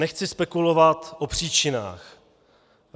Nechci spekulovat o příčinách.